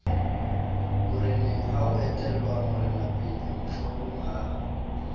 morenengha ho etellwa morenapele mohlomongha